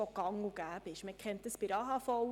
Wir kennen dies bei der AHV seit 1948.